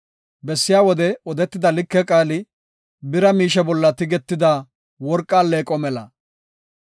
Bessiya wode odetida like qaali, bira miishe bolla tigetida worqa alleeqo mela.